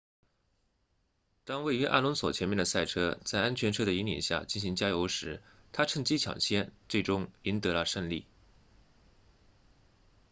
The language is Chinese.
当位于阿隆索前面的赛车在安全车的引领下进行加油时他趁机抢先最终赢得了胜利